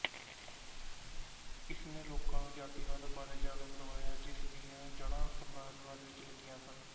ਇਸਨੇ ਲੋਕਾਂ ਨੂੰ ਜਾਤੀਵਾਦ ਬਾਰੇ ਜਾਣੂ ਕਰਵਾਇਆ ਜਿਸ ਦੀਆਂ ਜੜਾਂ ਸਾਮਰਾਜਵਾਦ ਵਿੱਚ ਲੱਗੀਆਂ ਸਨ